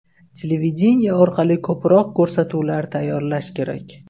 Televideniye orqali ko‘proq ko‘rsatuvlar tayyorlash kerak.